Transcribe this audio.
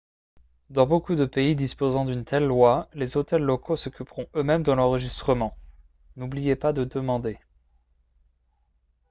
dans beaucoup de pays disposant d'une telle loi les hôtels locaux s'occuperont eux-mêmes de l'enregistrement n'oubliez pas de demander